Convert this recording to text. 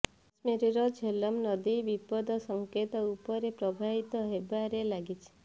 କାଶ୍ମୀରର ଝେଲମ ନଦୀ ବିପଦ ସଙ୍କେତ ଉପରେ ପ୍ରବାହିତ ହେବାରେ ଲାଗିଛି